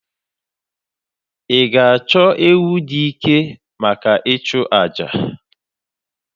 Ị ga-achọ ewu dị ike maka ịchụ àjà?